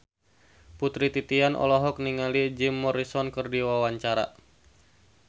Putri Titian olohok ningali Jim Morrison keur diwawancara